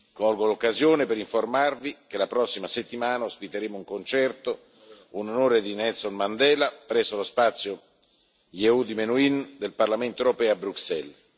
Colgo l'occasione per informarvi che la prossima settimana ospiteremo un concerto, in onore di Nelson Mandela, presso lo spazio Yehudi Menuhin del Parlamento europeo a Bruxelles.